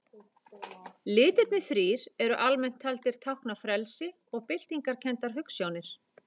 Litirnir þrír eru almennt taldir tákna frelsi og byltingarkenndar hugsjónir.